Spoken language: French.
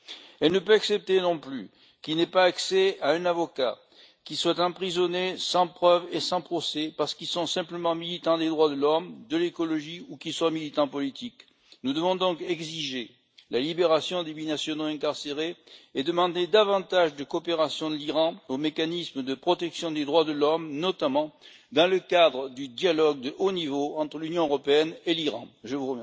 Elle ne peut accepter non plus qu'ils n'aient pas accès à un avocat, qu'ils soient emprisonnés sans preuve et sans procès parce qu'ils sont simplement militants des droits de l'homme, de l'écologie ou qu'ils sont militants politiques. Nous devons donc exiger la libération des binationaux incarcérés et demander davantage de coopération de l'Iran au mécanisme de protection des droits de l'homme, notamment dans le cadre du dialogue de haut niveau entre l'Union européenne et ce pays.